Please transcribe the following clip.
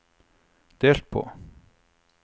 delt på